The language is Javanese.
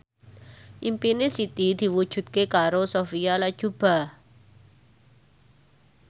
impine Siti diwujudke karo Sophia Latjuba